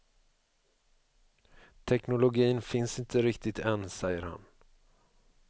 Teknologin finns inte riktigt än, säger han.